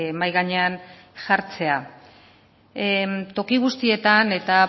mahai gainean jartzea toki guztietan eta